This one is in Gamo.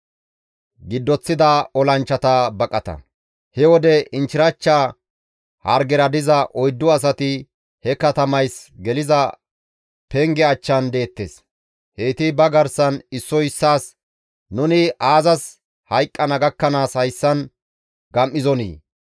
He wode inchchirachcha hargera diza oyddu asati he katamays geliza penge achchan deettes; heyti ba garsan issoy issaas, «Nuni aazas hayqqana gakkanaas hayssan gam7izonii?